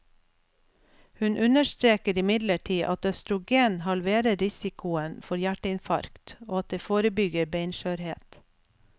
Hun understreker imidlertid at østrogen halverer risikoen for hjerteinfarkt, og at det forebygger beinskjørhet.